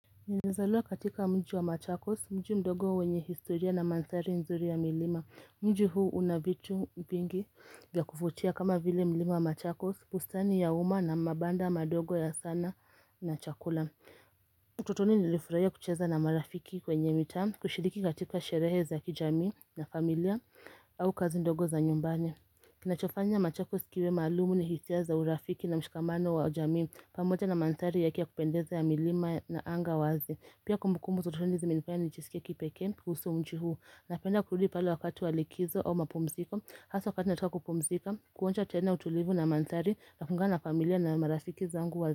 Nilizalua katika mji wa machakos mji mdogo wenye historia na mandhari nzuri ya milima Mji huu unavitu vingi vya kuvutia kama vile milima wa machakos bustani ya uma na mabanda madogo ya sanaa na chakula utotoni nilifuraia kucheza na marafiki kwenye mitaa kushiriki katika sherehe za kijamii na familia au kazi ndogo za nyumbani kina chofanya machakos kiwe maalumu ni hisia za urafiki na mshikamano wa jamii pamoja na manthari yake ya kupendeza ya milima na anga wazi Pia kumbukumbu za utotoni zimenifanya nijisikie kipekee kuhusu mji huu Napenda kurudi pale wakati wa likizo au mapumziko Haswa wakati nataka kupumzika Kuonja tena utulivu na manthari Nakuungana familia na marafiki zangu wa lakumzika.